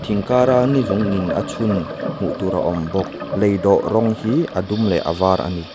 thing kara ni zung in a chhun hmuh tur a awm bawk lei dawh rawng hi a dum leh a var ani.